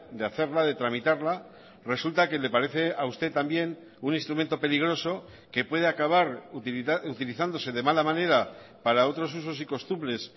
de hacerla de tramitarla resulta que le parece a usted también un instrumento peligroso que puede acabar utilizándose de mala manera para otros usos y costumbres